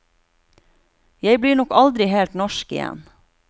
Jeg blir nok aldri helt norsk igjen.